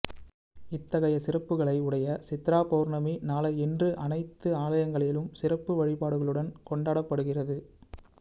இத்தகைய சிறப்புகளை உடைய சித்ரா பௌர்ணமி நாளை இன்று அனைத்து ஆலயங்களிலும் சிறப்பு வழிபாடுகளுடன் கொண்டாடப்படுகிறது